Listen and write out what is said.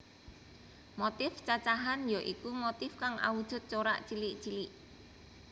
Motif cacahan ya iku motif kang awujud corak cilik cilik